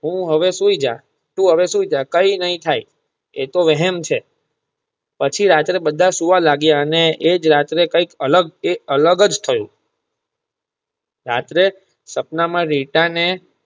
તું હવે સૂઈજ તું હવે સૂઈજ કઈ નહિ થાય એતો વહેમ છે પછી રાત્રે બધા સુવા લાગીયા અને એજ રાત્રે કઈ અલગ એ અલગજ થયું રાત્રે સપના માં રીટા ને.